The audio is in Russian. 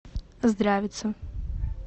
здравица